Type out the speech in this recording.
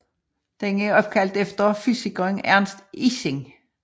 Den er opkaldt efter fysikeren Ernst Ising